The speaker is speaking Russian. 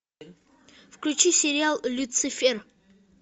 включи сериал люцифер